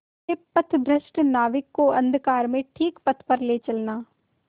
मेरे पथभ्रष्ट नाविक को अंधकार में ठीक पथ पर ले चलना